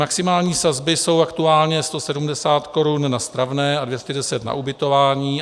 Maximální sazby jsou aktuálně 170 korun na stravné a 210 na ubytování.